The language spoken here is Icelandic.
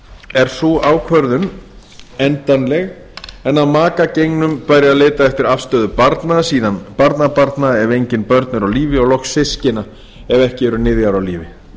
er sú ákvörðun endanleg en að maka gengnum bæri að leita eftir afstöðu barna síðan barnabarna ef engin börn eru á lífi og loks systkina ef ekki eru niðjar á lífi